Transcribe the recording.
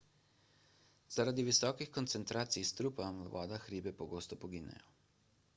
zaradi visokih koncentracij strupa v vodah ribe pogosto poginejo